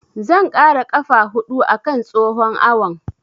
Zan ƙara ƙafa huɗu a kan tsohon awon.